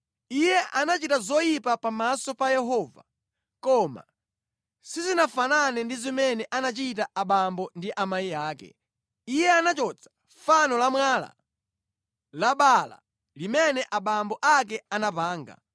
Iye anachita zoyipa pamaso pa Yehova koma sizinafanane ndi zimene anachita abambo ndi amayi ake. Iye anachotsa fano la mwala la Baala limene abambo ake anapanga.